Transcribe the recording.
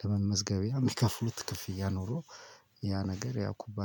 ለመመዝገቢያ የሚከፍሉት ክፍያ ኖሮ ያ ነገር ያው ኩባንያ